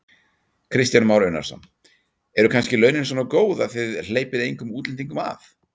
Kristján Már Unnarsson: Eru kannski launin svona góð að þið hleypið engum útlendingum að?